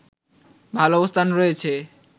ভালো অবস্থান রয়েছে